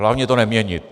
Hlavně to neměnit.